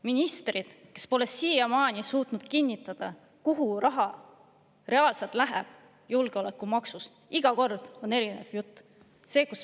Ministrid pole siiamaani suutnud kinnitada, kuhu julgeolekumaksust raha reaalselt läheb, iga kord on erinev jutt.